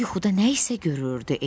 Yuxuda nə isə görürdü.